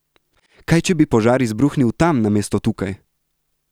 Kaj, če bi požar izbruhnil tam namesto tukaj?